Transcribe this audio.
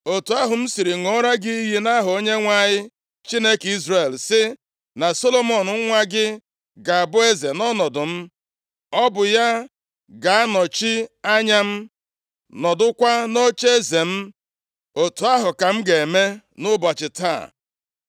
otu ahụ m siri ṅụrụ gị iyi nʼaha Onyenwe anyị, Chineke Izrel, sị, na Solomọn nwa gị ga-abụ eze nʼọnọdụ m, ọ bụ ya ga-anọchi anya m, nọdụkwa nʼocheeze m. Otu ahụ ka m ga-eme nʼụbọchị taa.”